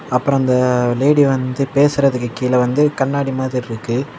அப்றொ அந்தா லேடி வந்து பேசுறதுக்கு கீழ வந்து கண்ணாடி மாதிரி இருக்கு.